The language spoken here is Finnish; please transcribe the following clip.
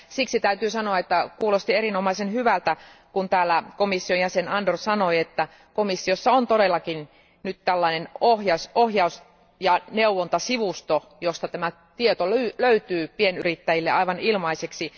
Siksi täytyy sanoa, että kuulosti erinomaisen hyvältä, kun täällä komission jäsen Andor sanoi, että komissiossa on todellakin nyt tällainen ohjaus ja neuvontasivusto, josta tämä tieto löytyy pienyrittäjille aivan ilmaiseksi.